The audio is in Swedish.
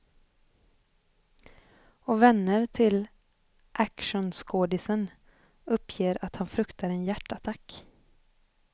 Och vänner till actionskådisen uppger att han fruktar en hjärtattack.